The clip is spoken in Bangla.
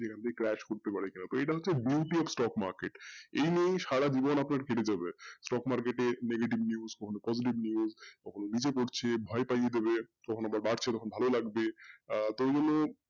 crash করতে পারে এটা হচ্ছে due to stock market এই নিয়েই সারা জীবন আপনার কেটে যাবে stock market এ negative news কখনো positive news কখনো নীচে পড়ছে ভয় পাইয়ে দেবে কখনো বাড়ছে বা ভালো লাগবে আহ তো ওইগুলো,